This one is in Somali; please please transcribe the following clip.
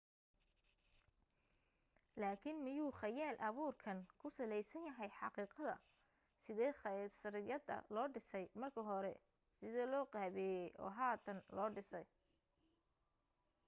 laakin miyuu khayaal abuurkeen ku salaysan yahay xaqiiqadda sidee khasriyadda loo dhisay marka hore sidee loo qaabeeyey oo hadan loo dhisay